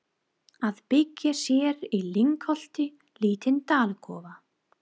Að byggja sér í lyngholti lítinn dalakofa.